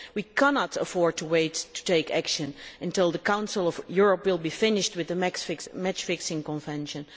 We cannot afford to wait to take action until the Council of Europe is finished with the match fixing convention.